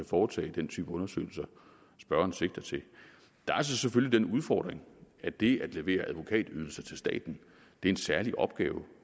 foretage den type undersøgelser spørgeren sigter til der er så selvfølgelig den udfordring at det at levere advokatydelser til staten er en særlig opgave